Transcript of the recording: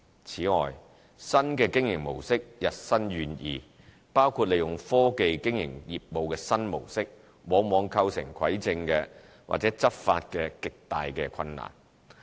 此外，新的經營模式日新月異，包括利用科技經營業務的新模式，往往構成蒐證及執法的極大困難。